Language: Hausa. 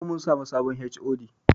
Yau mun samu sabon HOD